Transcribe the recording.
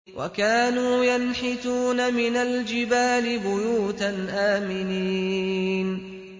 وَكَانُوا يَنْحِتُونَ مِنَ الْجِبَالِ بُيُوتًا آمِنِينَ